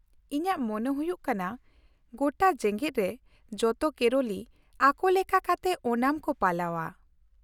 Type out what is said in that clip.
ᱤᱧᱟᱹᱜ ᱢᱚᱱᱮ ᱦᱩᱭᱩᱜ ᱠᱟᱱᱟ ᱜᱚᱴᱟ ᱡᱮᱜᱮᱫ ᱨᱮ ᱡᱚᱛᱚ ᱠᱮᱨᱚᱞᱤ ᱟᱠᱚ ᱞᱮᱠᱟ ᱠᱟᱛᱮ ᱳᱱᱟᱢ ᱠᱚ ᱯᱟᱞᱟᱣᱼᱟ ᱾